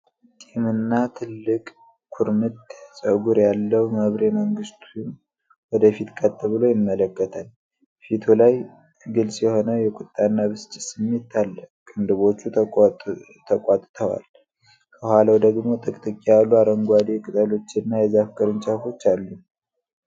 ጢምና ትልቅ ኩርምት ፀጉር ያለው መብሬ መንግስቴ ወደ ፊት ቀጥ ብሎ ይመለከታል። ፊቱ ላይ ግልጽ የሆነ የቁጣና ብስጭት ስሜት አለ፣ ቅንድቦቹ ተቋጥጠዋል። ከኋላው ደግሞ ጥቅጥቅ ያሉ አረንጓዴ ቅጠሎችና የዛፍ ቅርንጫፎች አሉ።